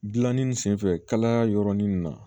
Gilanni sen fɛ kalaya yɔrɔnin na